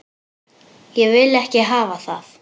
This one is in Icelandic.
Ég vil ekki hafa það.